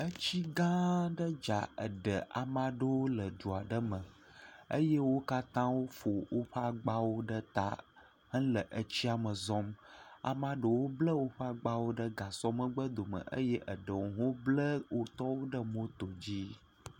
Etsi gã aɖe dza eɖe amea ɖewo le dua ɖe me eye wo katã wofɔ woƒe agbawo eye amea ɖewo ble woƒe agbawo ɖe gasɔ megbe dome, eye eɖewo hã woble wo tɔwo ɖe moto dzi.